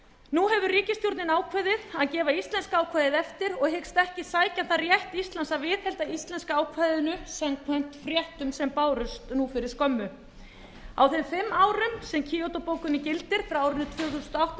nú hefur ríkisstjórnin ákveðið að gefa íslenska ákvæðið eftir og hyggst ekki sækja þar rétt íslands að viðhalda íslenska ákvæðinu samkvæmt fréttum sem bárust nú fyrir skömmu á þeim fimm árum sem kýótó bókunin gildir frá árinu tvö þúsund og átta til lok árs